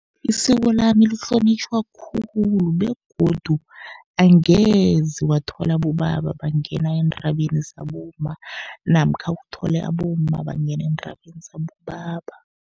Isiko lami lihlonitjhwa khulu begodu angeze wathola abobaba bangena eendabeni zabomma, namkha uthole abomma bangena eendabeni zabobaba.